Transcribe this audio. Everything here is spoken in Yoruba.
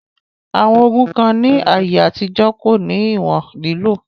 Àwọn ògùn kan ní àyè àtijọ́ kò ní ìwòn lílò